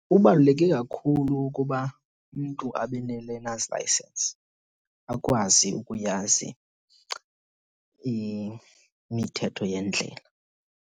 Kubaluleke kakhulu ukuba umntu abe ne-learners license akwazi ukuyazi imithetho yendlela.